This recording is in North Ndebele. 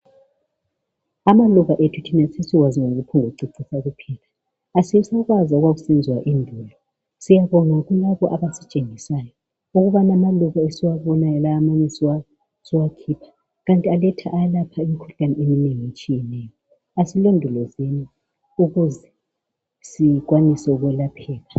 Amaluba ethu thina sesiwazi ngokuphombukucecisa kuphela asisakwazi okwakusenziwa endulo siyabonga kulabo abasitshengisayo ukubana amaluba esiwabonayo lawa manye siwakhipha kanti alapha imikhuhlane etshiyeneyo. Asilondolozeni ukuze sikwanise ukwelapheka.